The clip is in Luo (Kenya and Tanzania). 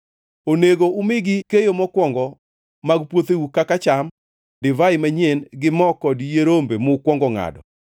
Onego umigi keyo mokwongo mag puotheu kaka cham, divai manyien, gi mo kod yie rombe mukwongo ngʼado,